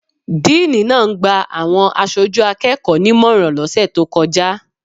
Díìní náà ń gba àwọn aṣojú akẹ́kọ̀ọ́ nímọ̀ràn lọ́sẹ̀ tó kọjá.